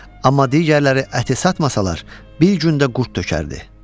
Amma digərləri əti satmasalar, bir gündə qurd tökərdi.